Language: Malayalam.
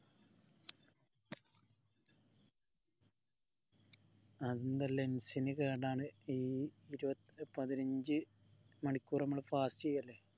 അതെന്താ lungs ന് കേടാണ് ഈ പതിനഞ്ചു മണിക്കൂർ നമ്മൾ fast ചെയ്യലെ